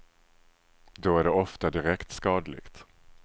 Då är det ofta direkt skadligt.